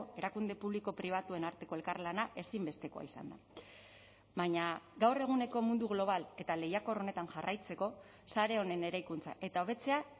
erakunde publiko pribatuen arteko elkarlana ezinbestekoa izan da baina gaur eguneko mundu global eta lehiakor honetan jarraitzeko sare honen eraikuntza eta hobetzea